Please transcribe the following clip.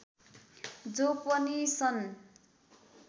जो पछि सन्